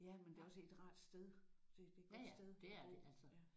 Ja men det er også et rart sted. Det det er et godt sted at bo